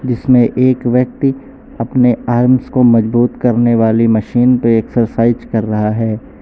जिसमें एक व्यक्ति अपने आर्म्स को मजबूत करने वाली मशीन पे एक्सरसाइज कर रहा है।